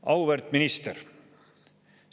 Auväärt minister!